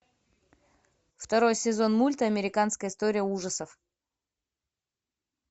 второй сезон мульта американская история ужасов